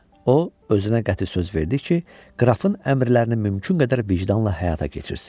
O özünə qəti söz verdi ki, qrafın əmrlərini mümkün qədər vicdanla həyata keçirsin.